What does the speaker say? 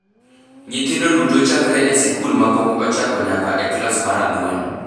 Nyithindo duto chakre e sikul ma pok ochako nyaka e klas mar ang’wen